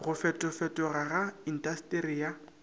go fetofetoga ga intasteri ya